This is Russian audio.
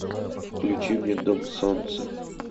включи мне дом солнца